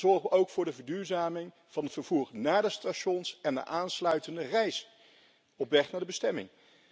Dan zorgen we namelijk ook voor de verduurzaming van het vervoer naar de stations en de aansluitende reis op weg naar de bestemming.